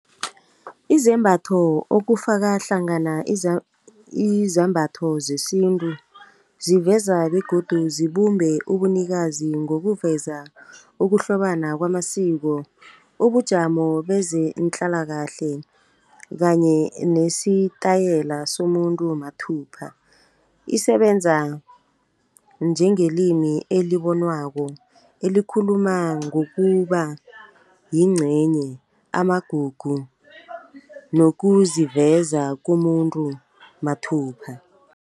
Izembatho okufaka hlangana izambatho zesintu ziveza begodu zibumbe ubunikazi. Ngokuveza ukuhlobana kwamasiko, ubujamo bezenhlalakahle kanye nesitayela somuntu mathubha. Isebenza njengelimi elibonwako elikhuluma ngokuba yincenye, amagugu nokuziveza komuntu mathupha.